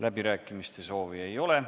Läbirääkimiste soovi ei ole.